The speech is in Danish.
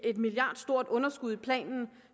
et milliardstort underskud i planen